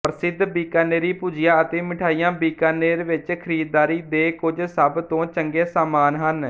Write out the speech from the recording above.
ਪ੍ਰਸਿੱਧ ਬੀਕਾਨੇਰੀ ਭੁਜਿਆ ਅਤੇ ਮਿਠਾਈਆਂ ਬੀਕਾਨੇਰ ਵਿੱਚ ਖਰੀਦਦਾਰੀ ਦੇ ਕੁੱਝ ਸਭਤੋਂ ਚੰਗੇ ਸਾਮਾਨ ਹਨ